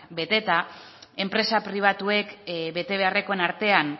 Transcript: beteta enpresa pribatuek betebeharrekoen artean